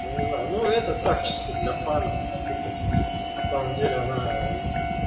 ну не знаю ну это так чисто для фанов потыкать на самом деле она